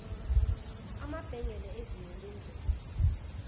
amabhengele ezinyo lendlovu